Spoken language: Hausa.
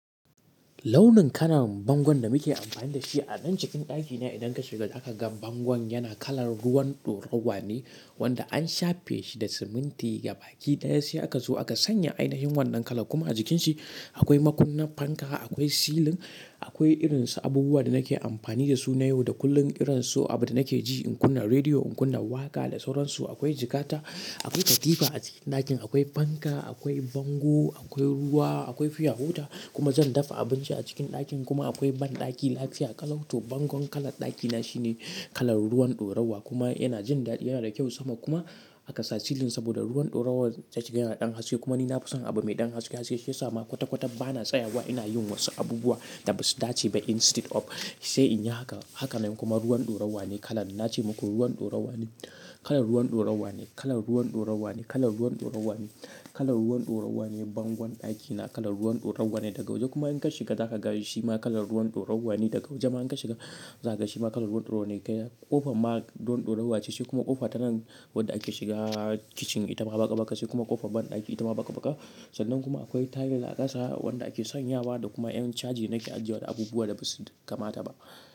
Launin kalar bangon da muke amfani da shi a nan cikin ɗakina idan ka shiga za ka ga bangon yana kalar ruwan ɗorawa ne wanda an shafe shi da siminti gabaki ɗaya sai aka zo aka sanya ainihin wannan kala. Kuma a jikin shi akwai makunnin fanka, akwai silin, akwai irin su abubuwan da nake amfani da su na yau da kullum irin su abin da nake ji, in kunna rediyo, in kunna waƙa da sauransu. Akwai jikkata, akwai katifa a cikin ɗakin, akwai fanka, akwai bango, akwai ruwa, akwai fiyawoda kuma zan dafa abinci a cikin ɗakin. Kuma akwai banɗaki lafiya. Kalau to bangon kalar ɗakina shine kalar ruwan ɗorawa kuma yana jin daɗi, yana da kyau sama kuma aka sa silin saboda ruwan ɗorawan ta ciki yana ɗan haske kuma ni na fi son abu mai ɗan haske haske shi ya sa ma kwata-kwata ba na tsayawa ina yin wasu abubuwa da ba su dace ba instead of sai in yi haka. Haka ne kuma ruwan ɗorawa ne kalar, na ce muku ruwan ɗorawa ne, kalar ruwan ɗorawa ne, kalar ruwan ɗorawa ne, kalar ruwan ɗorawa ne, kalar ruwan ɗorawa ne bangon ɗakina. Kalar ruwan ɗorawa ne daga waje kuma in ka shiga za ka ga shi ma kalar ruwan ɗorawa ne daga waje ma in ka shiga za ka ga shi ma kalar ruwan ɗorawa ne. Kofar ma ruwan ɗorawa ce shi kuma ƙofa tanan wadda ake shiga kicin ita ma baƙa-ɓaka ce kuma ƙofar banɗaki ita ma baƙa-ɓaka. Sannan kuma akwai tayil a ƙasa wanda ake sanyawa da kuma yan caji nake ajiye wa abubuwa da ba su kamata ba.